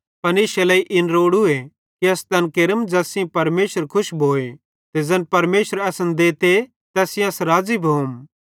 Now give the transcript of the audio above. पन इश्शे इन लेइ इन रोड़ू कि अस तैन केरम ज़ैस सेइं परमेशर खुश भोए ते ज़ैन परमेशर असन देते तैस सेइं अस राज़ी भोम